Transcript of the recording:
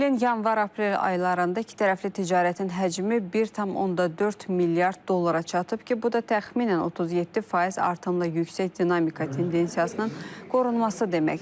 Bu ilin yanvar-aprel aylarında ikitərəfli ticarətin həcmi 1,4 milyard dollara çatıb ki, bu da təxminən 37% artımla yüksək dinamika tendensiyasının qorunması deməkdir.